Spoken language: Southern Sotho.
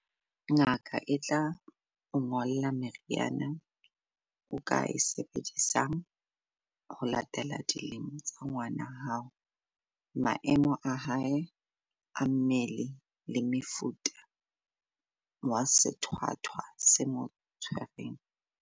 Ngaka e tla o ngolla meriana o ka e sebedisang ho latela dilemo tsa ngwana hao, maemo a hae a mmele le mofuta wa sethwathwa se mo tshwereng.